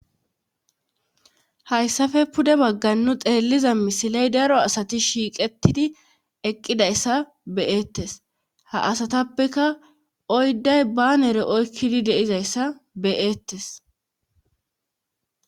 Hayssafe pude baggannu xeelliza misiley daro asati shiiqetidi eqqidayssa beyeettes ha asatappeka oydday banere oykkidi deizayssa beyeettes.